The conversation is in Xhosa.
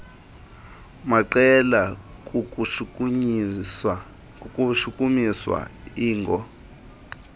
maqela kukushukumisa iingo